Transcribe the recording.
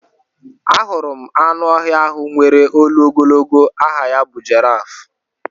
Ahụrụ m anụ ọhịa ahụ nwèrè olu ogologo aha ya bụ jiraaf.